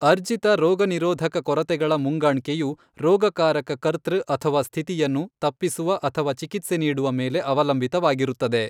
ಅರ್ಜಿತ ರೋಗನಿರೋಧಕ ಕೊರತೆಗಳ ಮುಂಗಾಣ್ಕೆಯು, ರೋಗಕಾರಕ ಕರ್ತೃ ಅಥವಾ ಸ್ಥಿತಿಯನ್ನು, ತಪ್ಪಿಸುವ ಅಥವಾ ಚಿಕಿತ್ಸೆ ನೀಡುವ ಮೇಲೆ ಅವಲಂಬಿತವಾಗಿರುತ್ತದೆ.